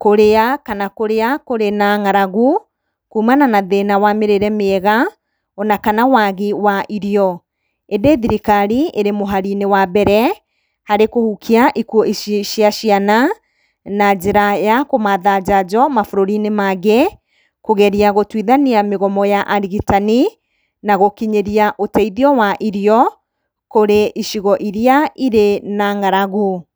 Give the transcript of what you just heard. kũrĩa kana kũrĩa kũrĩ na ng’aragu kumana na thĩna wa mĩrĩre mĩega ona kana wagi wa irio. Ĩndĩ thirikari ĩrĩ mũhari-inĩ wa mbere harĩ kũhukia ikuũ ici cia ciana, na njĩra ya kũmatha njanjo mabũrũri-inĩ mangĩ, kũgeria gũtuithania mĩgomo ya arigitani, na gũkinyĩria ũteithio wa irio kũrĩ icigo iria irĩ na ng’aragu.